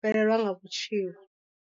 fhelelwa nga vhutshilo.